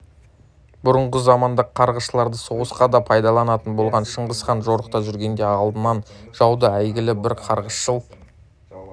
бұрынғы заманда қарғысшыларды соғысқа да пайдаланатын болған шыңғыс хан жорықта жүргенде алдынан жаудың әйгілі бір қарғысшыл